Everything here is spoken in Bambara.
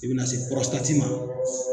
I be na se ma